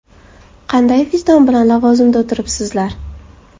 Qanday vijdon bilan lavozimda o‘tiribsizlar?!